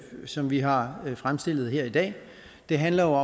som vi har fremsat her i dag handler